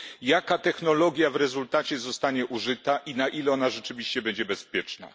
Jaka technologia w rezultacie zostanie użyta i na ile ona rzeczywiście będzie bezpieczna?